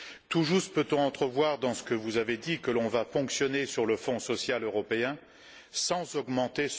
Tout juste peut on entrevoir dans ce que vous avez dit que l'on va ponctionner le Fonds social européen sans l'augmenter.